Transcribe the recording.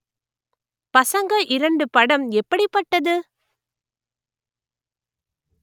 பசங்க இரண்டு படம் எப்படிப்பட்டது